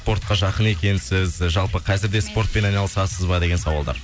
спортқа жақын екенсіз жалпы қазір де спортпен айналысасыз ба деген сауалдар